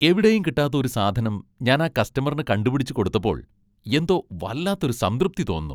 എവിടെയും കിട്ടാത്ത ഒരു സാധനം ഞാൻ ആ കസ്റ്റമറിന് കണ്ടുപിടിച്ച് കൊടുത്തപ്പോൾ എന്തോ വല്ലാത്ത ഒരു സംതൃപ്തി തോന്നുന്നു.